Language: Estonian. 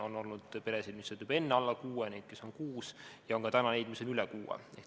On olnud peresid, kus oli enne alla kuue lapse ning kus on kuus last, ja on ka täna neid, kus on üle kuue lapse.